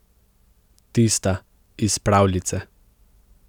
Tista iz pravljice.